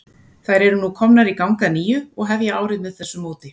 Þær eru nú komnar í gang að nýju og hefja árið með þessu móti.